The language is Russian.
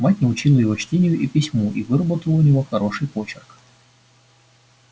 мать научила его чтению и письму и выработала у него хороший почерк